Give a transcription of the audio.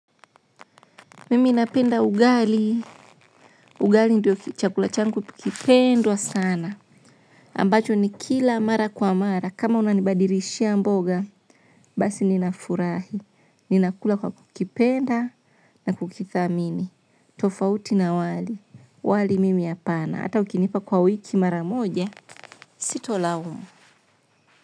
Mimi napenda ugali. Ugali ndio chakula changu kipendwa sana. Ambacho nikila mara kwa mara. Kama unanibadilishia mboga. Basi ninafurahi. Ninakula kwa kukipenda na kukithamini. Tofauti na wali. Wali mimi hapana. Hata ukinipa kwa wiki mara moja. Sito laumu.